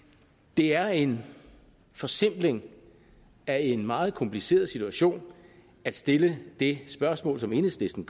det er en forsimpling af en meget kompliceret situation at stille det spørgsmål som enhedslisten